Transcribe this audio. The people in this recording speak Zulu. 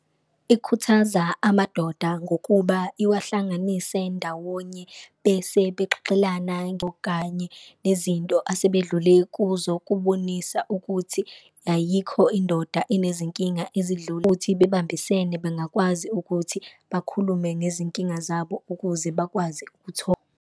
Ikhuthaza amadoda ngokuba iwahlanganise ndawonye bese bexolelana okanye nezinto asebedlule kuzo, kubonisa ukuthi ayikho indoda enezinkinga ezidlula kuthi bebambisene, bangakwazi ukuthi bakhulume ngezinkinga zabo ukuze bakwazi .